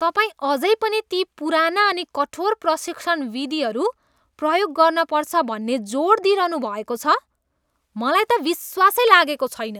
तपाईँ अझै पनि ती पुराना अनि कठोर प्रशिक्षण विधिहरू प्रयोग गर्नपर्छ भन्ने जोड दिइरहनुभएको छ! मलाई त विश्वासै लागेको छैन।